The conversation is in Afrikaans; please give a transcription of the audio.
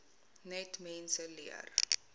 net mense leer